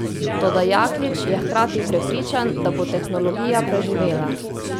Toda Jaklič je hkrati prepričan, da bo tehnologija preživela.